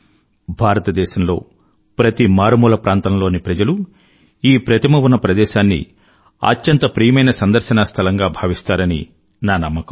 భారతదేశంలో ప్రతి మారుమూల ప్రాంతంలోని ప్రజలు ఈ ప్రతిమ ఉన్న ప్రదేశాన్ని అత్యంత ప్రియమైన సందర్శనా స్థలంగా భావిస్తారని నా నమ్మకం